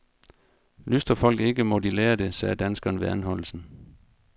Lystrer folk ikke, må de lære det, sagde danskeren ved anholdelsen.